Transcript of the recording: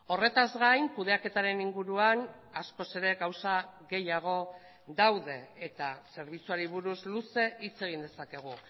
horretaz gain kudeaketaren inguruan askoz ere gauza gehiago daude eta zerbitzuari buruz luze hitz egin dezakegu